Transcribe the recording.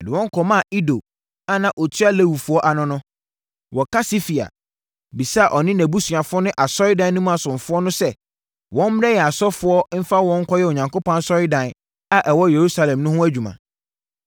Mede wɔn kɔmaa Ido a na ɔtua Lewifoɔ ano no, wɔ Kasifia, bisaa ɔne nʼabusuafoɔ ne asɔredan no mu asomfoɔ no sɛ wɔmmrɛ yɛn asɔfoɔ mfa wɔn nkɔyɛ Onyankopɔn asɔredan a ɛwɔ Yerusalem no mu adwuma.